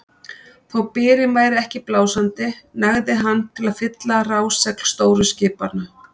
Þó byrinn væri ekki blásandi nægði hann til að fylla rásegl stóru skipanna.